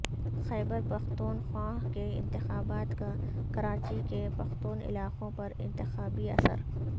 خیبرپختونخوا کے انتخابات کا کراچی کے پختون علاقوں پر انتخابی اثر